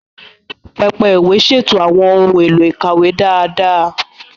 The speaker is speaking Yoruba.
Pẹpẹ ìwé ṣètò àwọn ohun èlò ìkàwé dáadáa.